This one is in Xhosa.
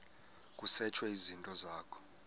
kusetshwe izinto zakho